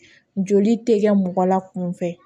Joli tɛ kɛ mɔgɔ la kunfɛ